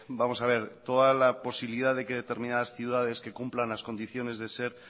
toda la posibilidad que determinadas ciudades que cumplan las condiciones de ser